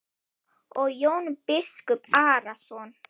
Og Jón biskup Arason.